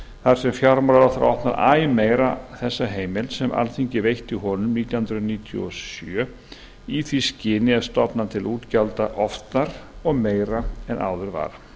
þar sem fjármálaráðherra opnar æ meira þessa heimild sem alþingi veitti honum nítján hundruð níutíu og sjö í því skyni að stofna til útgjalda oftar og meira en áður var